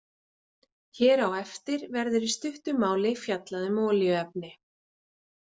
Hér á eftir verður í stuttu máli fjallað um olíuefni.